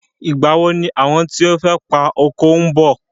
Ìgbà wo ni àwọn tí o fẹ́ pa oko ńbọ̀.